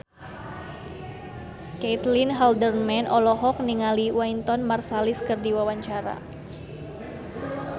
Caitlin Halderman olohok ningali Wynton Marsalis keur diwawancara